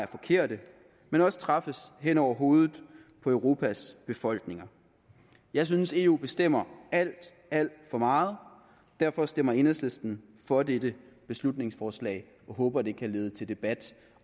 forkerte men også træffes hen over hovedet på europas befolkninger jeg synes eu bestemmer alt alt for meget derfor stemmer enhedslisten for dette beslutningsforslag og håber det kan lede til debat